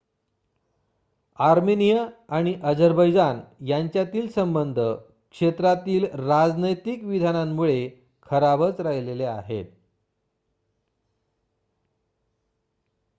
Armenia आणि Azerbaijan यांच्यातील संबध क्षेत्रातील राजनैतिक विधानांमुळे खराबच राहिलेले आहेत